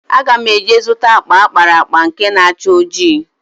Aga m eje zụta akpa akpara akpa nke na-acha ojii.